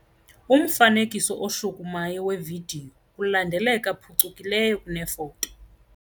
Umfanekiso oshukumayo wevidiyo ulandeleka phucukileyo kunefoto.